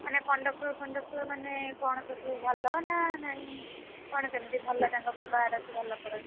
ମାନେ conductor conductor ମାନେ କଣ ସବୁ ଭଲ ନା ନାଇଁ କଣ କେମିତି ଭଲ ତାଙ୍କ ବ୍ୟବହାର ସବୁ ଭଲ କରନ୍ତି?